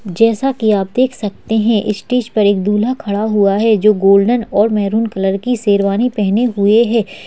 जैसा की आप देख सकते हैं स्टेज पर एक दूल्हा खड़ा हुआ है जो गोल्डन और महरून कलर की शेरवानी पहने हुए है।